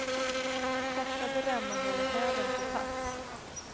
Korsade remmar håller hälen på plats.